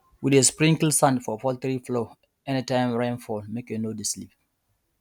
we dey sprinkle sand for poultry floor anytime rain fall make e no dey slip